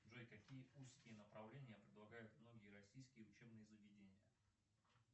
джой какие узкие направления предлагают многие российские учебные заведения